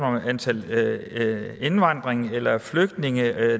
om antallet af indvandrere eller flygtninge